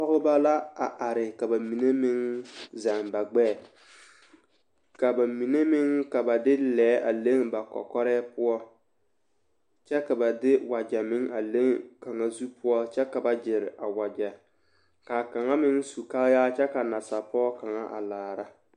Pɔgebɔ la a are ka bamine meŋ zɛŋ ba gbɛɛ ka bamine ka ba de lɛɛ a leŋ ba kɔkɔrɛɛ poɔ kyɛ ka ba de wagyɛ meŋ a leŋ kaŋa zu poɔ kyɛ ka ba gyere a wagyɛ k'a kaŋa meŋ su kaayaa kyɛ ka nasapɔge kaŋa a laara.